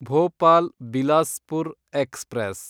Bhopal Bilaspur express